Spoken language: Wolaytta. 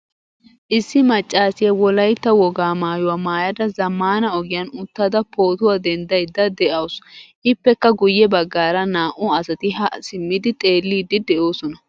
Issi maccasiya wolaytta wogaa maayuwa maayada zammaana ogiyan uttada pootuwa denddaydda de'awusu. Ippekka guyye baggaara naa''u asati haa simmidi xeellidi de'oosona.